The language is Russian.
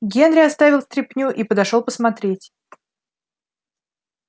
генри оставил стряпню и подошёл посмотреть